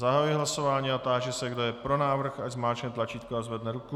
Zahajuji hlasování a táži se, kdo je pro návrh, ať zmáčkne tlačítko a zvedne ruku.